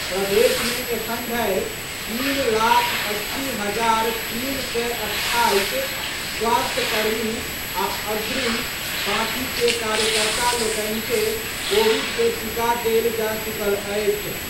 प्रदेश मे एखन धरि तीन लाख अस्सी हजार तीन सय अट्ठाईस स्वास्थ्यकर्मी आ अग्रिम पांति के कार्यकर्ता लोकनि के कोविड के टीका देल जा चुकल अछि।